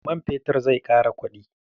Man fetur zai ƙara kuɗi.